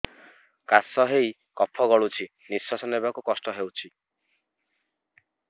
କାଶ ହେଇ କଫ ଗଳୁଛି ନିଶ୍ୱାସ ନେବାକୁ କଷ୍ଟ ହଉଛି